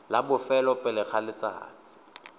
la bofelo pele ga letsatsi